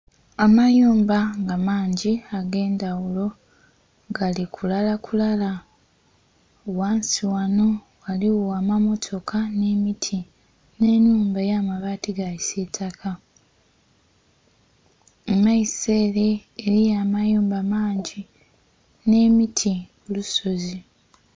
Amayumba nga mangi agendhaghulo galikulakula ghansi ghanho ghaligho amammotoka nh'emiti, nh'enhumba eyamabaati gakisitaka, mumaiso ere eriyo amayumba mangi nh'emiti kulusozi.